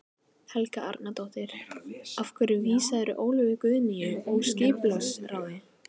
Helga Arnardóttir: Af hverju vísaðir þú Ólöfu Guðnýju úr skipulagsráði?